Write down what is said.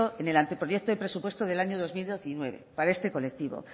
en el anteproyecto de presupuestos del año dos mil diecinueve para este colectivo